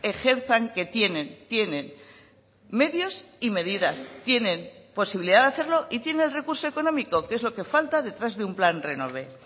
ejerzan que tienen tienen medios y medidas tienen posibilidad de hacerlo y tiene el recurso económico que es lo que falta detrás de un plan renove